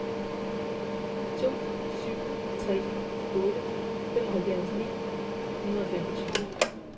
to syv tre otte femoghalvfjerds ni hundrede og femogtyve